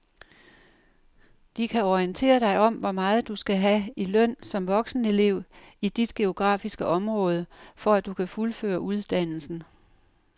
De kan orientere dig om hvor meget du skal have i løn som voksenelev i dit geografiske område, for at du kan fuldføre uddannelsen.